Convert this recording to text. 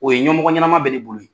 O ye ɲɛmɔgɔ ɲɛnama bɛ ne bolo ye.